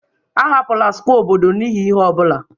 Ahapụla square obodo n'ihi ihe ọ bụla!